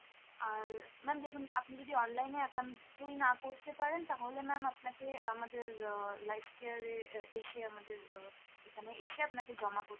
আর ma'am দেখুন আপনি যদি online এ একান্তই না করতে পারেন তাহলে ma'am আপনাকে আমাদের আহ lifecare এ আহ এসে আমাদের আহ এখানে এসে আপনাকে জমা করতে